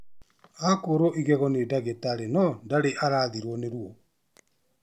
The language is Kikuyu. Akũrwo igego nĩ dagĩtarĩ no ndarĩ arathirwo nĩ ruo